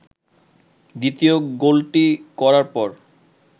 দ্বিতীয় গোলটি করার পর